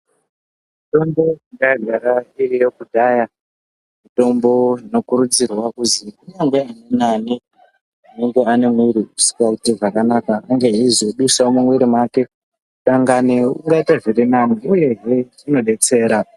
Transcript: Mitombo yanga yagara iriyo kudhaya mitombo inokurudzirwa kuzi kunyangwe nani anenge aine muwiri usingaiti zvakanaka unge eizodusawo mumuwiri mwake dangani ungaite zviri nani uye hee inodetsera.